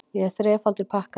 Ég er þrefaldur pakkari.